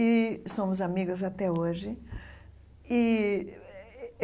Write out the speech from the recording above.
E somos amigas até hoje e eh.